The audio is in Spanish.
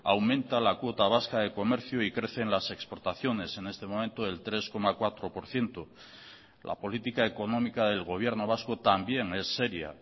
aumenta la cuota vasca de comercio y crecen las exportaciones en este momento del tres coma cuatro por ciento la política económica del gobierno vasco también es seria